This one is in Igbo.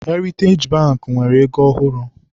Heritej Bankị nwere ego ọhụrụ.